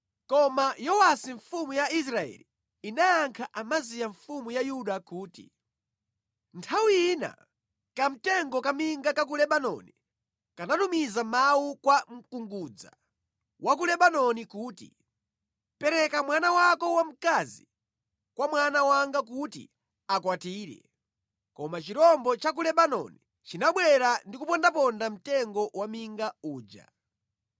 Koma Yowasi mfumu ya Israeli inayankha Amaziya mfumu ya Yuda kuti, “Nthawi ina kamtengo kaminga ka ku Lebanoni kanatumiza mawu kwa mkungudza wa ku Lebanoni kuti, ‘Pereka mwana wako wamkazi kwa mwana wanga kuti amukwatire!’ Koma chirombo cha ku Lebanoni chinabwera ndi kupondaponda mtengo wa minga uja.